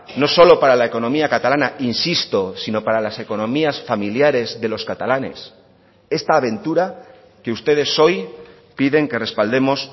no solo para la economía catalana insisto sino para las economías familiares de los catalanes esta aventura que ustedes hoy piden que respaldemos